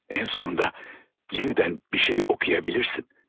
Ən sonunda yenidən bir şey oxuya bilirsən.